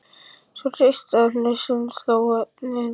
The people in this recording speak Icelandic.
Svo hristi hann hausinn og hló efins.